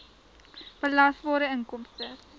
belasbare inkomste